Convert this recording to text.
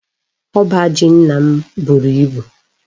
Oba ji nna m buru ibu